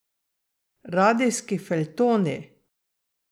Radijski feljtoni!